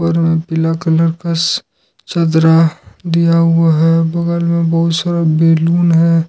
लाल पीला कलर का चदरा दिया हुआ है बगल में बहुत सारा बैलून है।